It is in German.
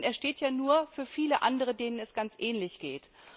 Denn er steht ja nur für viele andere, denen es ganz ähnlich geht.